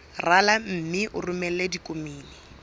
rala mme o romele ditokomene